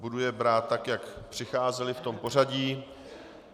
Budu je brát tak, jak přicházely, v tom pořadí.